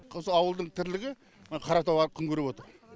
осы ауылдың тірлігі мына қаратау күн көріп отыр